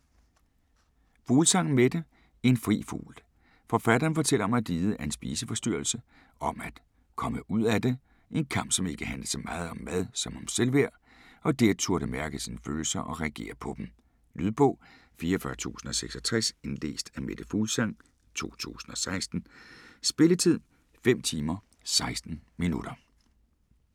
Fuglsang, Mette: En fri fugl Forfatteren fortæller om at lide af en spiseforstyrrelse, om at komme ud af det - en kamp som ikke handlede så meget om mad som om selvværd - og det at turde mærke sine følelser og reagere på dem. Lydbog 44066 Indlæst af Mette Fuglsang, 2016. Spilletid: 5 timer, 16 minutter.